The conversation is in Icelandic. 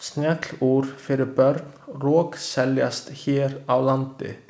Snjallúr fyrir börn rokseljast hér á landi.